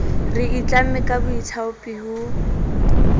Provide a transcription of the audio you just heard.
re itlamme ka boithaopi ho